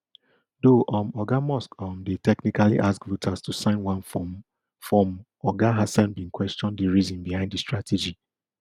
though um oga musk um dey technically ask voters to sign one form form oga hasen bin question di reason behind di strategy